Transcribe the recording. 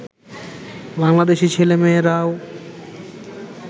Bangladeshi ছেলে-মেয়েরাও